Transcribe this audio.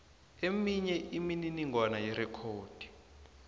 eminye imininingwana yerekhodi